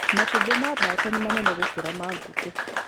Matumbĩ ma mbata nĩ manene gũkĩra ma ngũkũ.